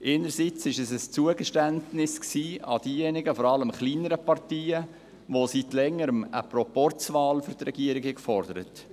Einerseits war es ein Zugeständnis, vor allem gegenüber kleineren Parteien, die seit Längerem eine Proporzwahl für die Regierung forderten.